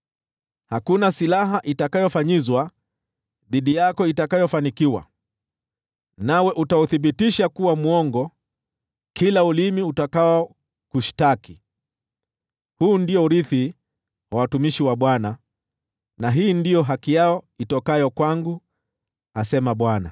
Hakuna silaha itakayofanyizwa dhidi yako itakayofanikiwa, nawe utauthibitisha kuwa mwongo kila ulimi utakaokushtaki. Huu ndio urithi wa watumishi wa Bwana na hii ndiyo haki yao itokayo kwangu,” asema Bwana .